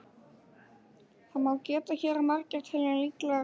Þess má geta hér að margir telja líklegra að